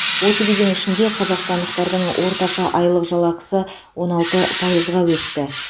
осы кезең ішінде қазақстандықтардың орташа айлық жалақысы он алты пайызға өсті